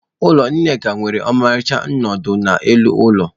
Ụlọ Nneka nwere ọmarịcha nnọdụ n'elu ụlọ.